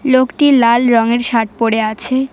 লোকটি লাল রঙের শার্ট পড়ে আছে।